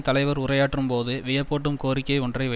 தலைவர் உரையாற்றும் போது வியப்பூட்டும் கோரிக்கை ஒன்றை வைத்தார்